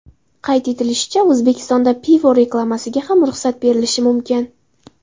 Qayd etilishicha, O‘zbekistonda pivo reklamasiga ham ruxsat berilishi mumkin.